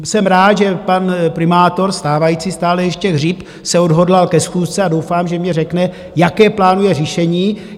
Jsem rád, že pan primátor stávající stále ještě Hřib se odhodlal ke schůzce, a doufám, že mně řekne, jaké plánuje řešení.